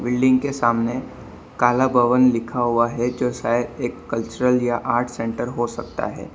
Building के सामने काला भवन लिखा हुआ है जो शायद एक कल्चरल या आर्ट सेंटर हो सकता है।